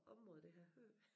Område det har jeg hørt